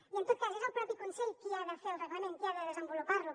i en tot cas és el propi consell qui ha de fer el reglament qui ha de desenvolupar lo